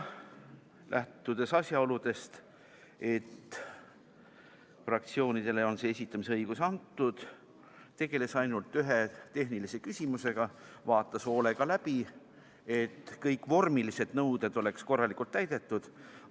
Lähtudes asjaolust, et fraktsioonidele on see esitamise õigus antud, tegeles ainult ühe tehnilise küsimusega: vaatas hoolega läbi, et kõik vormilised nõuded oleks korralikult täidetud.